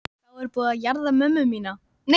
Þá er búið að jarða hana mömmu mína.